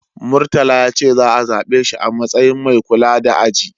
Murtala ya ce za'a zabe shi a matsayin mai kula da aji.